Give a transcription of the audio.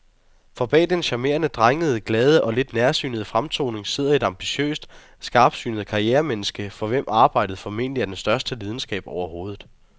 For bag den charmerende, drengede, glade og lidt nærsynede fremtoning sidder et ambitiøst og skarpsynet karrieremenneske, for hvem arbejdet formentlig er den største lidenskab overhovedet.